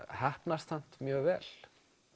heppnast samt mjög vel